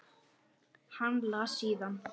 Síðan las hann: